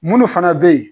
Munnu fana be yen